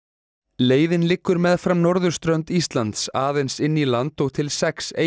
leiðin liggur meðfram norðurströnd Íslands aðeins inn í land og til sex eyja